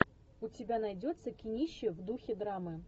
у тебя найдется кинище в духе драмы